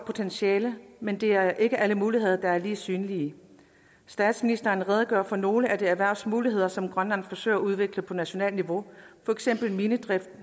potentiale men det er ikke alle muligheder der er lige synlige statsministeren redegør for nogle af de erhvervsmuligheder som grønland forsøger at udvikle på nationalt niveau for eksempel minedrift